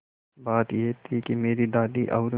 बात यह थी कि मेरी दादी और